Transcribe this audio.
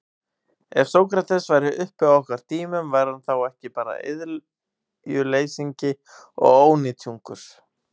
Ef Sókrates væri uppi á okkar tímum, væri hann þá ekki bara iðjuleysingi og ónytjungur?